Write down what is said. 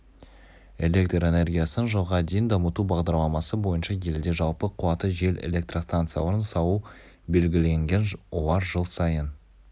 электр энергиясын жылға дейін дамыту бағдарламасы бойынша елде жалпы қуаты жел электрстанцияларын салу белгіленген олар жыл сайын